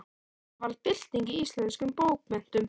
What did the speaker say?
Og það varð bylting í íslenskum bókmenntum.